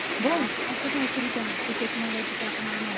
बरं असं काही तरी ते आहे ती टेक्नॉलॉजी काही आता मला माहित नाही.